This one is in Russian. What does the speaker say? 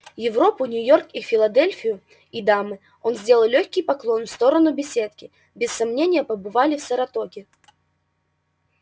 европу нью-йорк и филадельфию и дамы он сделал лёгкий поклон в сторону беседки без сомнения побывали в саратоге